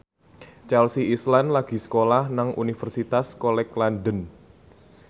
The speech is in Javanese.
Chelsea Islan lagi sekolah nang Universitas College London